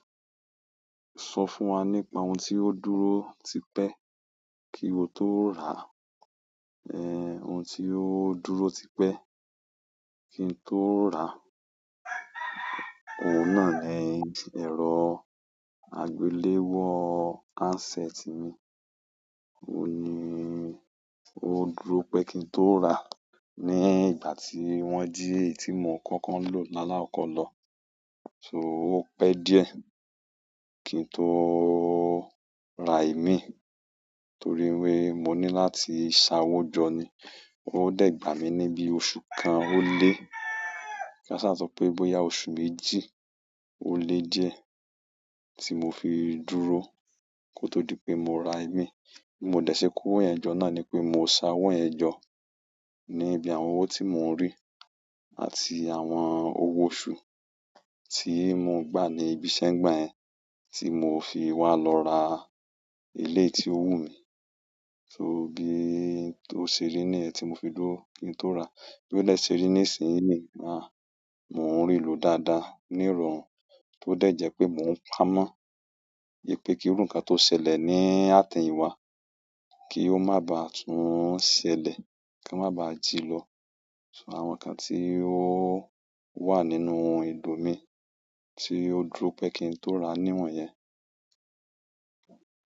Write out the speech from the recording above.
Sọ fún wa nípa ohun tí ó dúró tipẹ́ kí o tó rà, ẹ, ohun tí ó dúró tipẹ́ kí n tó rà. Ohun náà ni ẹ̀rọ àgbéléwọ́ handset mi. Ó ní ó dúró pẹ́ kí n tó rà ní ìgbà tí wọ́n jí èyí tí mo kọ́kọ́ ń lò lála kọkọ̀ lọ. So ó pẹ́ díẹ̀ kí n tó rà imí torí wí pé mo ní láti sa owó jọ ni. Ó dàgbà mí ní bí oṣù kan ó lé. Kí a ṣà sọ pé bóyá oṣù méjì ó le díẹ̀ tí mo fi dúró kó tó di pé mo ra ẹ̀mí. Bí mo dẹ̀ ṣe ko owo yẹn jọ́ náà ni pé mo sa owó ẹjọ́ níbi àwọn owó tí mo ń rí àti àwọn owó oṣù tí mo ń gbà ní ibi iṣẹ́ ń gbà yẹ́n tí mo fi wá lọ ra eleyi tí ó wù mí. So bí ó ṣe rí ní ẹ́ tí mo fi dúró kí n tó rà. Bí ó de ṣe rí ní ìsinyin ni, àá mo n rilo dáadáa ní ìrọ̀rùn tó dẹ̀ jẹ́ pé mò ń pámọ́ ìpè kí irú ǹkan tó ṣẹlẹ̀ ní àteyinwá kí ó má bá tún ṣẹlẹ̀, kí won ma bá jì lọ. Àwọn ǹkan tí ó wà nínú ìlú mi tí ó dúró pẹ́ kí n tó ra ni wọ̀nyẹn.